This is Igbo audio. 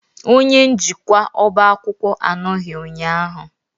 Onye njikwa ọba akwụkwọ anọghị ụnyahụ.